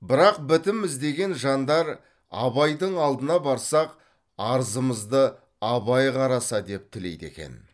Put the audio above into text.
бірақ бітім іздеген жандар абайдың алдына барсақ арызымызды абай қараса деп тілейді екен